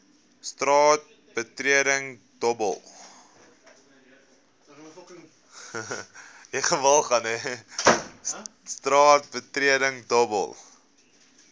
straat betreding dobbel